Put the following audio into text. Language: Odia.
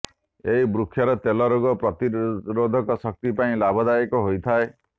ଏହି ବୃକ୍ଷର ତେଲ ରୋଗ ପ୍ରତିରୋଧକ ଶକ୍ତି ପାଇଁ ଲାଭଦାୟକ ହୋଇଥାଏ